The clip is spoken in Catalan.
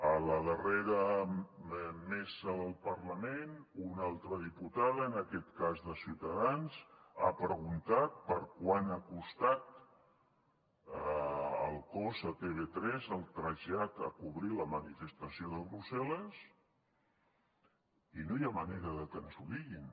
a la darrera mesa del parlament una altra diputada en aquest cas de ciutadans ha preguntat quant ha costat el cost a tv3 del trasllat per cobrir la manifestació de brussel·les i no hi ha manera de que ens ho diguin